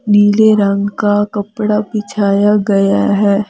नीले रंग का कपड़ा बिछाया गया है।